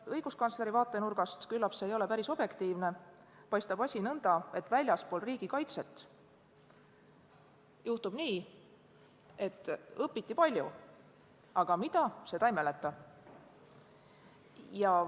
Õiguskantsleri vaatenurgast – küllap see ei ole päris objektiivne – paistab asi aga nõnda, et väljaspool riigikaitset õpitakse palju, aga mida, seda ei mäletata.